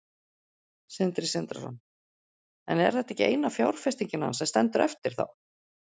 Sindri Sindrason: En er þetta ekki eina fjárfestingin hans sem stendur eftir þá?